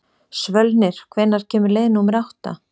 Svölnir, hvenær kemur leið númer átta?